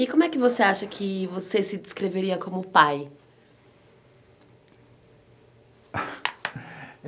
E como é que você acha que você se descreveria como pai?